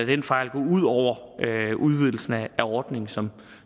den fejl gå ud over udvidelsen af ordningen som